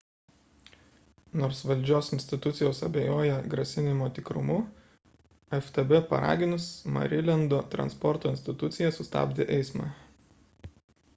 nors valdžios institucijos abejoja grasinimo tikrumu ftb paraginus marilendo transporto institucija sustabdė eismą